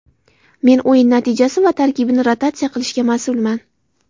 Men o‘yin natijasi va tarkibni rotatsiya qilishga mas’ulman.